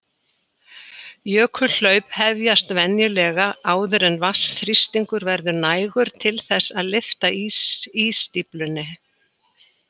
Jökulhlaup hefjast venjulega áður en vatnsþrýstingur verður nægur til þess að lyfta ísstíflunni.